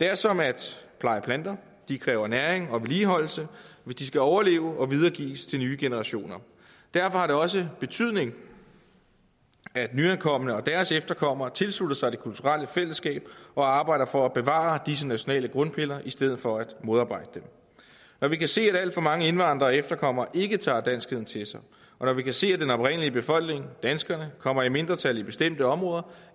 det er som at pleje planter de kræver næring og vedligeholdelse hvis de skal overleve og videregives til nye generationer derfor har det også betydning at nyankomne og deres efterkommere tilslutter sig det kulturelle fællesskab og arbejder for at bevare disse nationale grundpiller i stedet for at modarbejde dem når vi kan se at alt for mange indvandrere og efterkommere ikke tager danskheden til sig og når vi kan se at den oprindelige befolkning danskerne kommer i mindretal i bestemte områder